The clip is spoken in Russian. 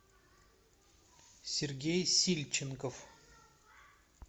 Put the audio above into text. сергей сильченков